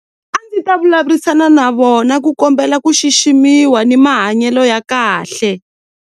A ndzi ta vulavurisana na vona ku kombela ku xiximiwa ni mahanyelo ya kahle.